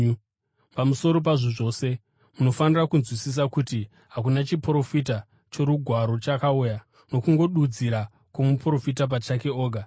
Pamusoro pazvo zvose, munofanira kunzwisisa kuti hakuna chiprofita choRugwaro chakauya nokungodudzira kwomuprofita pachake oga.